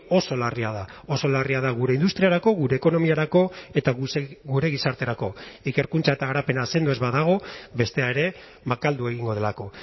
oso larria da oso larria da gure industriarako gure ekonomiarako eta gure gizarterako ikerkuntza eta garapena sendo ez badago bestea ere makaldu egingo delako